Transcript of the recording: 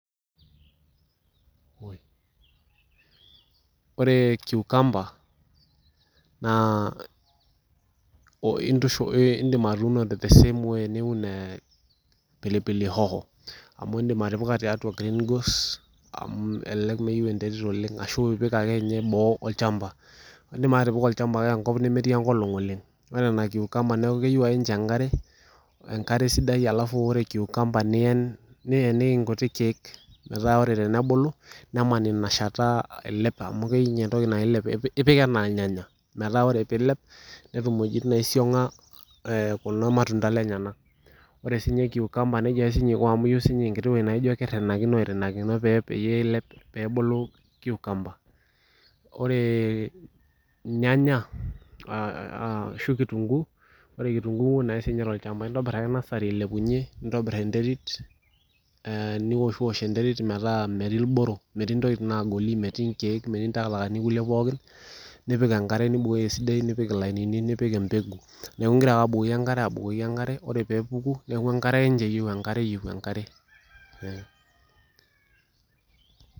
Ore kiukamba naa indiim atuuno the sam way niun ee pilipili hoho amu indiim atipika tiatua green go's elelek miyieu enterit oleng ashua ipik akeninye boo olchamba indip ake atipika olchamba kake enkop nemetii enkolong oleng ore nena kiukamba neeeku keyeiu ake ninche enkare enkare sidai alafu ore kiukamba niyen nieniki inkuti kiek meetaq ore tenebulu neman ina shata ailep amu keyieu ninye entoki nailep ipik enaa irnyanya metaa ore peilep netum iweitin neisiong'a eeh kulo matunda lenyenak ore sii kikamba nejia aki sii ninye eiko aku ayeiu ssii ninye enkiti weueji naijio keirinakino airinakino peeilep nebulu kiukamba ore irnyanya shuu kitunkuu intabir ake nasari ailepunyie nintobir enterit niwoshiwosh enterit metaa metii irboro metii intokitin naagoli metii inkiiek metii intakatakani poolik nipik enkare nibukoki esidai nipik ilainini nipik empeku neeku inkira ake abukoki enkare ore peeku enkare ake ninche eyieiu enkare.